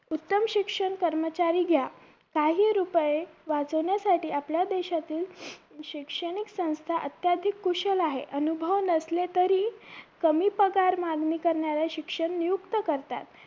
उत्तम शिक्षण कर्मचारी घ्या काही रुपये वाचवण्यासाठी आपल्या देशातील शिक्षणिक संस्था अत्याधिक कुशल आहे अनुभव नसेल तरी कमी पगार मागणी करणाऱ्या शिक्षण नियुक्त्त करतात